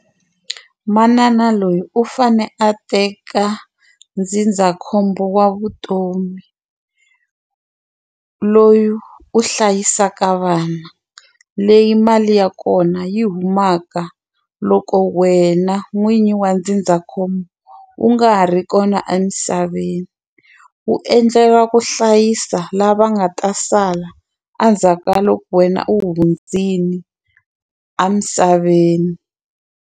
Manana loyi u fane a teka ndzindzakhombo wa vutomi loyi u hlayisaka vana leyi mali ya kona yi humaka loko wena n'winyi wa ndzindzakhombo u nga ha ri kona emisaveni wu endlela ku hlayisa lava nga ta sala endzhaku ka loko wena u hundzile emisaveni.